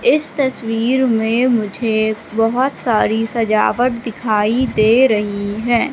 इस तस्वीर में मुझे बहोत सारी सजावट दिखाई दे रही हैं।